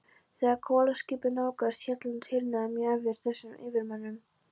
Þegar kolaskipið nálgaðist Hjaltland, hýrnaði mjög yfir þýsku yfirmönnunum.